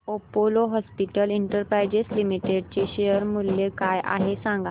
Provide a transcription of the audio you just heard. Apollo hospitals enterprise limited चे share मूल्य काय आहे सांगा